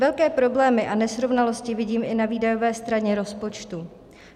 Velké problémy a nesrovnalosti vidím i na výdajové straně rozpočtu.